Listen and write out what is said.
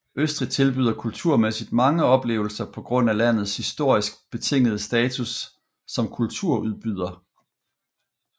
Østrig tilbyder kulturmæssigt mange oplevelser på grund af landets historisk betingede status som kulturudbyder